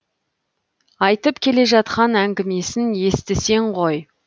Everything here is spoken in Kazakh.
айтып келе жатқан әңгімесін естісең ғой